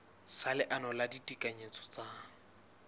sa leano la ditekanyetso tsa